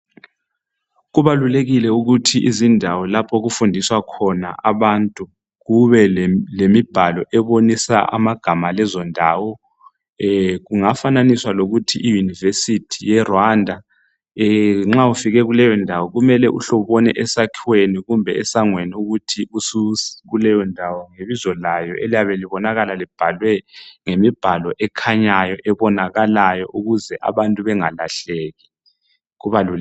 Kubalulekile ukuthi izindawo lapho okufundiswa khona abantu. Kube lemibhalo ebonisa amagama alezondawo. Kungafananiswa lokuthi i-university, yeRwanda. Nxa ufike kuleyondawo kumele uhle ubone esakhiweni, kumbe esangweni, ukuthi usukuleyondawo. Ngebizo kayo eliyabe libonakala libhalwe ngombhalo, okhanyayo. Ukuze abantu bengalahleki.